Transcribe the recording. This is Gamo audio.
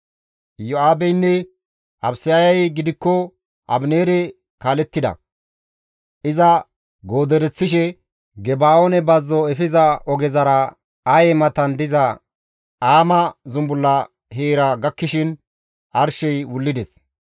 Iyo7aabeynne Abisayey gidikko Abineere kaalettida; iza goodereththishe Geba7oone bazzo efiza ogezara Aye matan diza Aama zumbulla heera gakkishin arshey wullides.